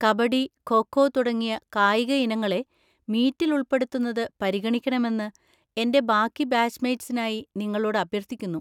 കബഡി, ഖോ ഖോ തുടങ്ങിയ കായിക ഇനങ്ങളെ മീറ്റിൽ ഉൾപ്പെടുത്തുന്നത് പരിഗണിക്കണമെന്ന് എന്‍റെ ബാക്കി ബാച്ച് മേറ്റ്‌സിനായി നിങ്ങളോട് അഭ്യർത്ഥിക്കുന്നു.